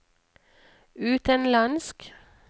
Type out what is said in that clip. utenlandsk